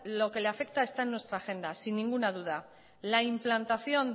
lo que le afecta está en nuestra agenda sin ninguna duda la implantación